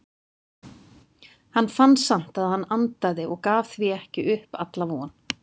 Hann fann samt að hann andaði og gaf því ekki upp alla von.